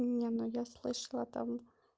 не но я слышала там